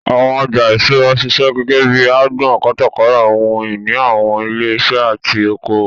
Àwọn ọjà ìṣúra ń ṣiṣẹ́ gẹ́gẹ́ bíi agbọn kátàkárà ohun ìní àwọn ilé iṣẹ́ àti oko òwò.